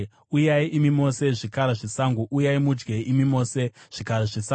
Uyai, imi mose zvikara zvesango, uyai mudye, imi mose zvikara zvesango!